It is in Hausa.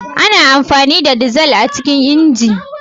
Ana amfani da dizal a cikin injin.